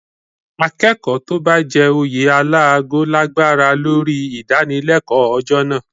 Akẹ́kọ̀ọ́ tó bá jẹ oyè alágo lágbára lórí ìdánilẹ́kọ̀ọ́ ọjọ́ náà